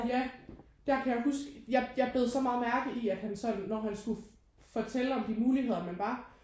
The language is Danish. Ja der kan jeg huske jeg jeg bed så meget mærke i at han sådan når han skulle fortælle om de muligheder man var